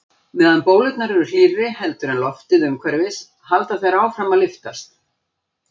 Meðan bólurnar eru hlýrri heldur en loftið umhverfis halda þær áfram að lyftast.